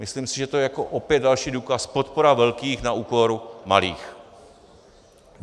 Myslím si, že to je opět další důkaz - podpora velkých na úkor malých.